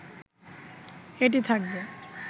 এটি থাকবে